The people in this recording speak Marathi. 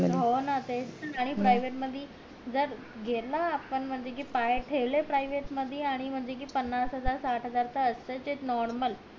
हो ना तेच तर आणि private मधी जर गेलं आपण म्हणजे कि जर पाय ठेवले private मध्ये म्हणजे कि आणि पानास हजार साठ हजार असतेच येत नॉर्मल